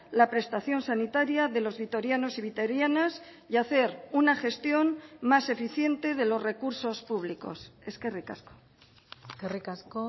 la prestación sanitaria de los vitorianos y vitorianas y hacer una gestión más eficiente de los recursos públicos eskerrik asko eskerrik asko